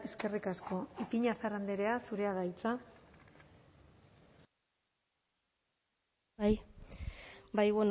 eskerrik asko ipiñazar andrea zurea da hitza bai